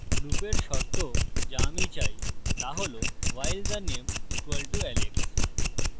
লুপের শর্ত the আমি চাই the হলwhile the name = alex